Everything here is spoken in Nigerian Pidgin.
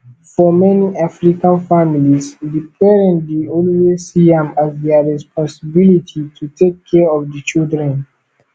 for many african families di parent dey always see am as their responsibility to take care of di children